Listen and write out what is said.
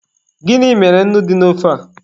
Gịnị mere nnu ji naa ofe a?